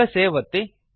ಈಗ ಸೇವ್ ಅನ್ನು ಒತ್ತಿ